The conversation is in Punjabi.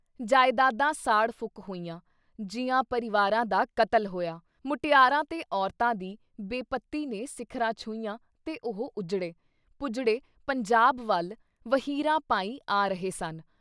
ਜਾਇਦਾਦਾਂ ਸਾੜ ਫੂਕ ਹੋਈਆਂ, ਜੀਆਂ ਪਰਿਵਾਰਾਂ ਦਾ ਕਤਲ ਹੋਇਆ, ਮੁਟਿਆਰਾਂ ਤੇ ਔਰਤਾਂ ਦੀ ਬੇਪਤੀ ਨੇ ਸਿਖ਼ਰਾਂ ਛੂਹੀਆਂ ਤੇ ਉਹ ਉੱਜੜੇ, ਪੁੱਜੜੇ ਪੰਜਾਬ ਵੱਲ ਵਹੀਰਾਂ ਪਾਈ ਆ ਰਹੇ ਸਨ।